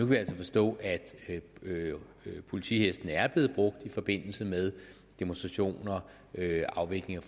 vi altså forstå at politihestene er blevet brugt i forbindelse med demonstrationer afvikling